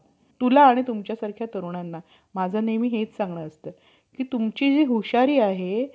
हे दास या उभयतांमध्ये भेद करावा म्हणून अनेक तऱ्हेने नेम बादले. या सर्व कर~ कृतदयावर,